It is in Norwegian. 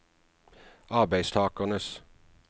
arbeidstakernes